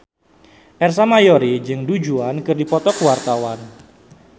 Ersa Mayori jeung Du Juan keur dipoto ku wartawan